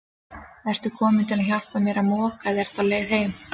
Ertu kominn til að hjálpa mér að moka eða ertu á leið heim?